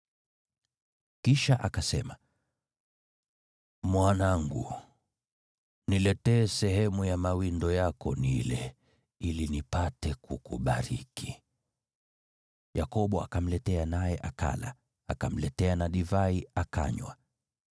Kisha akasema, “Mwanangu, niletee sehemu ya mawindo yako nile, ili nipate kukubariki.” Yakobo akamletea naye akala, akamletea na divai akanywa.